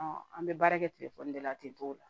an bɛ baara kɛ telefɔni de la ten t'o la